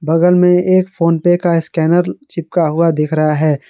बगल में एक फोन पे का स्कैनर चिपका हुआ दिख रहा है।